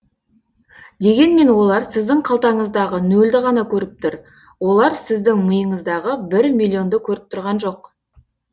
дегенмен олар сіздің қалтаңыздағы нөлді ғана көріп тұр олар сіздің миыңыздағы бір миллионды көріп тұрған жоқ